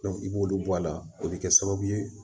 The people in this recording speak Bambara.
i b'olu bɔ a la o bɛ kɛ sababu ye